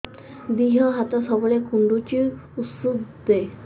ଦିହ ହାତ ସବୁବେଳେ କୁଣ୍ଡୁଚି ଉଷ୍ଧ ଦେ